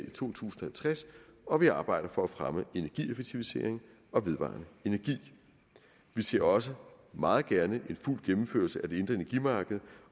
i to tusind og tres og vi arbejder for at fremme energieffektivisering og vedvarende energi vi ser også meget gerne en fuld gennemførelse af det indre energimarked